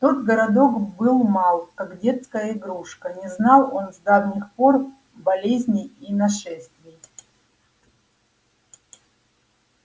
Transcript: тот городок был мал как детская игрушка не знал он с давних пор болезней и нашествий